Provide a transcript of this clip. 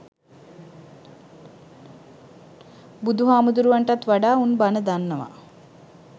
බුදු හාමුදුරුවන්ටත් වඩා උන් බණ දන්නවා